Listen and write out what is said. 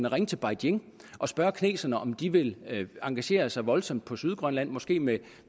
ringe til beijing og spørge kineserne om de vil engagere sig voldsomt på sydgrønland måske med